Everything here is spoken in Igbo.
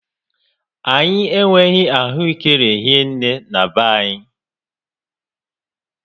Anyị enweghị ahụekere hie nné na be anyị